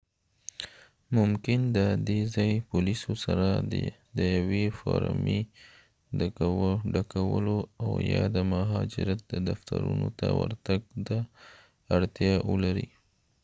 دا ممکن د ځایي پولیسو سره د یوې فورمې ډکولو او یا د مهاجرت د دفترونو ته ورتګ ته اړتیا ولري